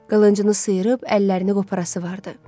Qılıncını sıyırıb əllərini qoparası vardı.